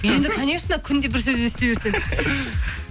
енді конечно күнде бір сөз ести берсең